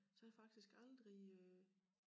Så jeg har faktisk aldrig øh